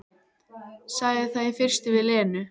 Sagði það í fyrstu við Lenu.